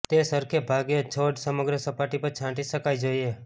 તે સરખે ભાગે છોડ સમગ્ર સપાટી પર છાંટી શકાય જોઈએ